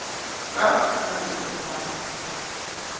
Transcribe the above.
ka a re ge a